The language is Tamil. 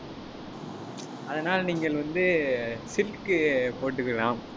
அதனால் நீங்கள் வந்து சில்க்கு போட்டுக்கலாம்.